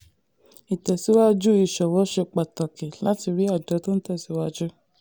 ìtẹ̀síwájú ìsòwò ṣe pàtàkì láti ri àjọ tó ń tẹ̀síwájú.